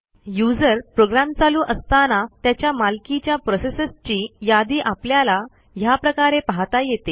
user program चालू असताना त्याच्या मालकीच्या प्रोसेसेसची यादी आपल्याला ह्याप्रकारे पाहता येते